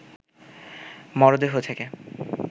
মরদেহ থেকে